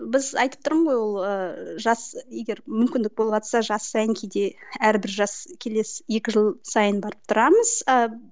біз айтып тұрмын ғой ол ыыы жас егер мүмкіндік болыватса жас сайын кейде әрбір жас келесі екі жыл сайын барып тұрамыз ыыы